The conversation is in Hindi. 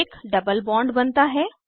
एक डबल बॉन्ड बनता है